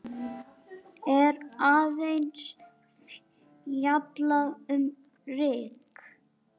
er aðeins fjallað um ryk.